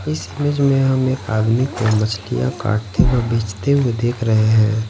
इस इमेज में हम एक आदमी को मछलियां काटते व बेचते हुए देख रहे हैं।